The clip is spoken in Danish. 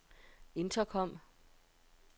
intercom